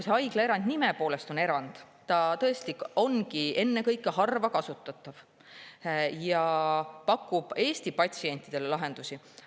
See haiglaerand on nime poolest erand ja ta ongi ennekõike harva kasutatav ja pakub Eesti patsientidele lahendusi.